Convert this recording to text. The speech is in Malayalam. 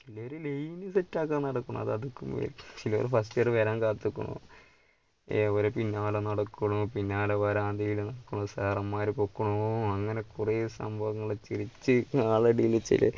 ചിലര് line set ആക്കാൻ നടക്കുന്നു അത് അതുക്കും മേലെ ചിലര് first year വരാൻ കാത്തുക്കുണു, അവര് പിന്നാലെ നടക്കുന്നു പിന്നാലെ വരാന്തയില് നടക്കുന്നു. സാറന്മാര് പൊക്കണു അങ്ങനെ കുറെ സംഭവങ്ങള്